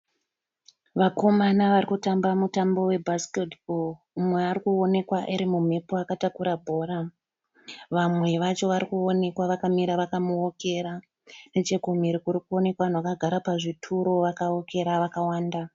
Vakoma vari kutamba mutambo we bhasiketi bho. Umwe ari kuonekwa ari mumhepo akatakura bhora. Vamwe vacho vari kuonekwa vakamira vakamuokera. Nechekumhiri kuri kuonekwa vanhu vakagara pazvituro vakawokera vakawanda.